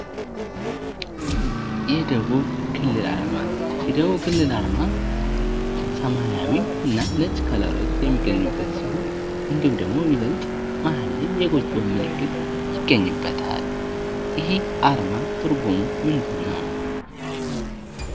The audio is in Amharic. የደቡብ ክልል አርማ ፦የደቡብ ክልል አርማ ሰማያዊ እና ነጭ ከለሮች የሚገኙበት ሲሆን እንዲሁም ደግሞ ይበልጥ መሀል ላይ የጎጆ ምልክት ይገኝበታል ። ይሄ አርማ ትርጉሙ ምንድነው ?